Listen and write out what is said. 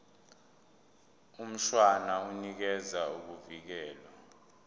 mshwana unikeza ukuvikelwa